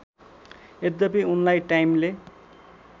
यद्यपि उनलाई टाइमले